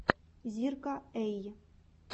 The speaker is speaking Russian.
зирка эй